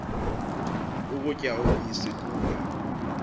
ukutya ubisi kuba